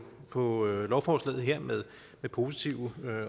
på lovforslaget her med positive